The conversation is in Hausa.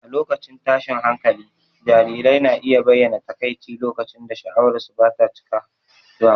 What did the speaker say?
A lokacin tashin hankali, jarirai na iya bayyana takaici lokacin da sha'awarsu ba ta cika ba.